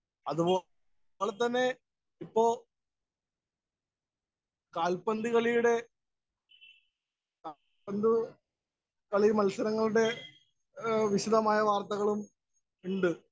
Speaker 1 അതുപോലെ തന്നെ, ഇപ്പൊ കാല്‍പ്പന്തുകളിയുടെ കാല്‍പ്പന്തുകളി മത്സരങ്ങളുടെ വിശദമായ വാര്‍ത്തകളും ഇണ്ട്.